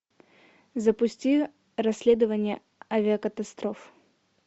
запусти расследование авиакатастроф